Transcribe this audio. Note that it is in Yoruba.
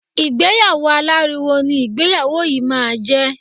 Ìgbéyàwó aláriwo ni ìgbéyàwó yìí máa jẹ.